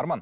арман